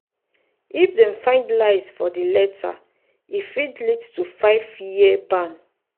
if dem find lies for di letter e fit fit lead to five-year ban.